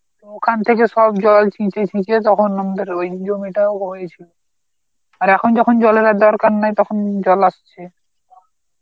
ওখান থেকে সব জল ছিঁচে ছিঁচে তখন আমদের ওই ওই জমিটা রয়েই ছিল, আর এখন যখন জলের আর দরকার নেই তখন জল আসছে.